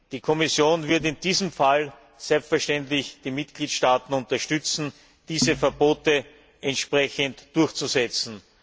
Die Kommission würde in diesem Fall selbstverständlich die Mitgliedstaaten unterstützen, diese Verbote entsprechend durchzusetzen.